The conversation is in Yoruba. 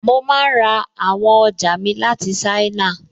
Mo máa n ra àwọn ọjà mi láti ṣáínà